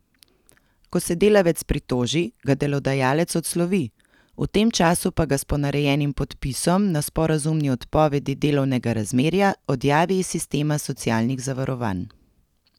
Ko se delavec pritoži, ga delodajalec odslovi, v tem času pa ga s ponarejenim podpisom na sporazumni odpovedi delovnega razmerja odjavi iz sistema socialnih zavarovanj.